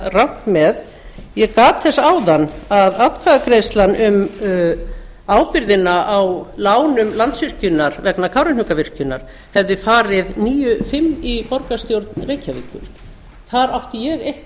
rangt með ég gat þess áðan að atkvæðagreiðslan um ábyrgðina á lánum landsvirkjunar vegna kárahnjúkavirkjunar hefði farið níu fimm í borgarstjórn reykjavíkur þar átti ég eitt